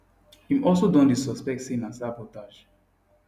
im also don dey suspect say na sabotage